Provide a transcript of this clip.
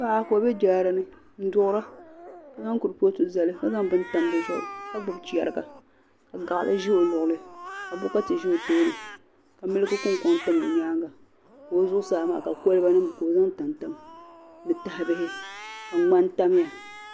Paɣa ka o be jaarani nduɣira kazaŋ kurfotu zali kazaŋ bin tam dizuɣu kagbubi chariga ka gaɣli ze o luɣilino ka bokati ze ka miliki kunkɔŋ tam o nyaaŋa ka o zuɣusaa ka o zaŋ kolbanom tamtam ni taha bihi ka gman tamya